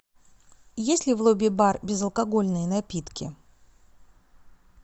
есть ли в лобби бар безалкогольные напитки